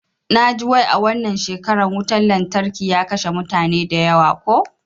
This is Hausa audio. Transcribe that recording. Naji wai a wannan shekara wutan lantarkin ya kashe mutane da yawa ko?